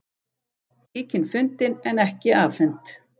Tíkin fundin en ekki afhent